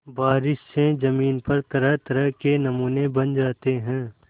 बारिश से ज़मीन पर तरहतरह के नमूने बन जाते हैं